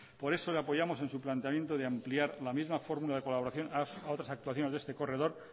por eso la apoyamos en su planteamiento de ampliar la misma fórmula de colaboración a otras actuaciones de este corredor